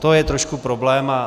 To je trošku problém.